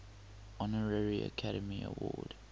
honorary academy award